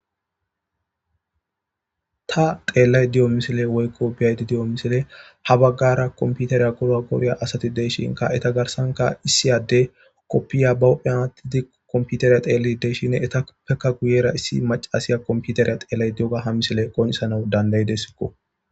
Taa xelayidda diyo missilenni woyikko be'ayidda diyo missilenni haa bagara kompiteriya gorogoriya asati de'ishshinnkka etta garissankka issi adeyi be huphphenni kofiya wotid kompiteriya gorogoriya taa teladiskko.